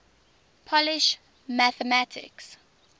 polish mathematicians